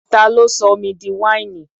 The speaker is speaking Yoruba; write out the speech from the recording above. Ta ló sọ omi di wáìnì?